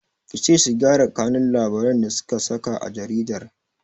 Kice su gyara kanun labarin da suka saka a jaridar!